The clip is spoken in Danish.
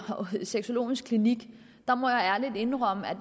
sexologisk klinik må jeg ærligt indrømme at